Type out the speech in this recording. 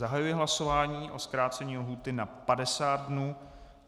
Zahajuji hlasování o zkrácení lhůty na 50 dnů.